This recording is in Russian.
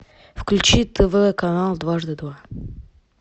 включи тв канал дважды два